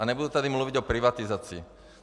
A nebudu tady mluvit o privatizaci.